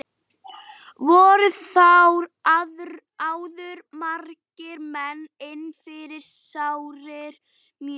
Voru þar áður margir menn inni fyrir sárir mjög.